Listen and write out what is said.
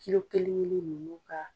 kelen kelen ninnu ka